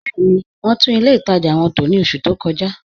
Bẹẹ̀ni, wọn tún ilẹ̀ ìtaja wọn tó ní ọṣù tó kọ̀ja